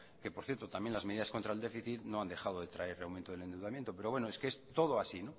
que por cierto también las medidas contra el déficit no han dejado traer aumento del endeudamiento pero bueno es que es todo así